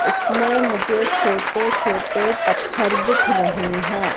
इसमें मुझे छोटे छोटे पत्थर दिख रहें हैं।